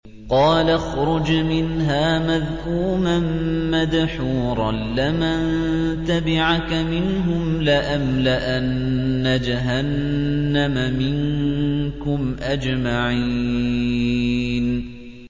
قَالَ اخْرُجْ مِنْهَا مَذْءُومًا مَّدْحُورًا ۖ لَّمَن تَبِعَكَ مِنْهُمْ لَأَمْلَأَنَّ جَهَنَّمَ مِنكُمْ أَجْمَعِينَ